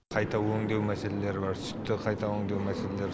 қайта өңдеу мәселелері бар сүтті қайта өңдеу мәселелері